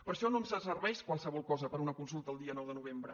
per això no ens serveix qualsevol cosa per a una consulta el dia nou de novembre